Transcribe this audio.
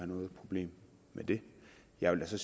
noget problem med det jeg vil så